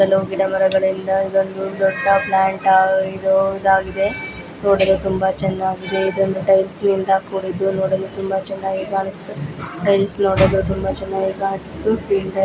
ಸುತ್ತಲು ಗಿಡ ಮರಗಳಿಂದ ಇದೊಂದು ದೊಡ್ಡ ಪ್ಲಾಂಟ್ ಆ- ಇದು ಇದಾಗಿದೆ ನೋಡಲು ತುಂಬಾ ಚೆನ್ನಾಗಿದೆ. ಇದೊಂದು ಟೈಲ್ಸ್ ನಿಂದ ಕೂಡಿದ್ದು ನೋಡಲು ತುಂಬಾ ಚೆನ್ನಾಗಿ ಕಾಣಿಸುತ್ತಿದೆ. ಟೈಲ್ಸ್ ನೋಡಲು ತುಂಬಾ ಚೆನ್ನಾಗಿ ಕಾಣಿಸು